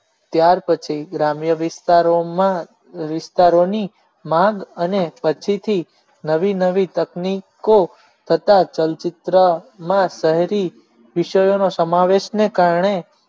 ત્યાર પછી ગ્રામ્ય વિસ્તારોમાં વિસ્તારોની માંગ અને પછીથી નવી નવી તકની કો થતા ચલચિત્રમાં શહેરી વિષયોનો સમાવેશ ને કારણે